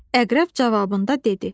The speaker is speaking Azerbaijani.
Əqrəb cavabında dedi.